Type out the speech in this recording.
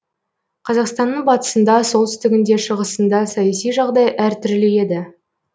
қазақстанның батысында солтүстігінде шығысында саяси жағдай әр түрлі еді